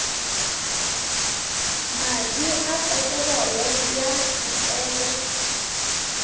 madi a peterolo ya disele